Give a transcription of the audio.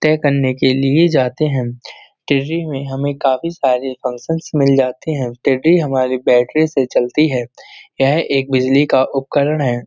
तय करने के लिए जाते हैं। टीररी में हमें काफी सारी फंक्शन्स मिल जाते है। टीररी हमारे बैटरी से चलती है। यह एक बिजली का उपकरण है।